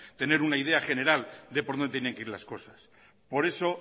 tener una idea de por dónde tienen que ir las cosas por eso